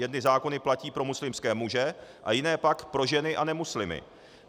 Jedny zákony platí pro muslimské muže a jiné pak pro ženy a nemuslimy.